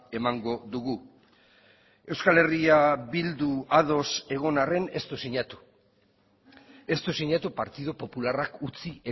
emango dugu euskal herria bildu ados egon arren ez du sinatu ez du sinatu partidu popularrak utzi